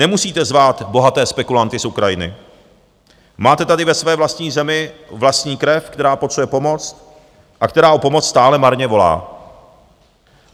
Nemusíte zvát bohaté spekulanty z Ukrajiny, máte tady ve své vlastní zemi vlastní krev, která potřebuje pomoc a která o pomoc stále marně volá.